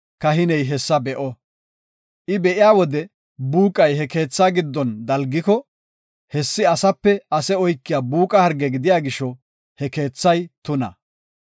kahiney hessa be7o. I be7iya wode buuqay he keethaa giddon dalgiko, hessi asape ase oykiya buuqa harge gidiya gisho he kathay tuna.